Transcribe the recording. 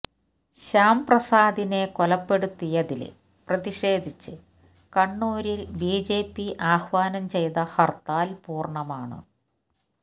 ശ്യാം പ്രസാദിനെ കൊലപ്പെടുത്തിയതില് പ്രതിഷേധിച്ച് കണ്ണൂരില് ബിജെപി ആഹ്വാനം ചെയ്ത ഹര്ത്താല് പൂര്ണ്ണമാണ്